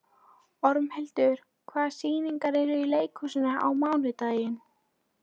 Ormhildur, hvaða sýningar eru í leikhúsinu á mánudaginn?